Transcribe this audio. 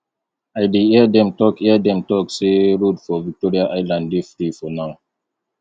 i dey hear dem talk hear dem talk say road for victoria island dey free for now